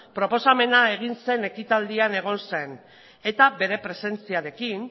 proposamena egin zen ekitaldian egon zen eta bere presentziarekin